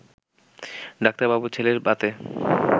ডাক্তারবাবুর ছেলের ভাতে